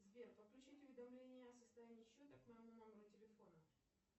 сбер подключить уведомления о состоянии счета к моему номеру телефона